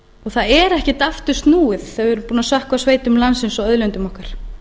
það er ekkert aftur snúið þegar við erum sökkva sveitum landsins og auðlindum okkar